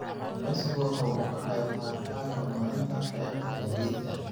Kalluumaysigu waxa uu ka qayb qaataa horumarinta qaybta gaadiidka.